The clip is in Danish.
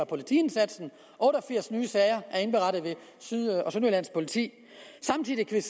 politiindsatsen otte og firs nye sager er blevet indberettet ved syd og sønderjyllands politi samtidig kan